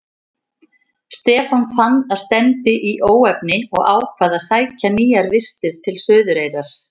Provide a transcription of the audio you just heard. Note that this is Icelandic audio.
Stefán fann að stefndi í óefni og ákvað að sækja nýjar vistir til Suðureyrar.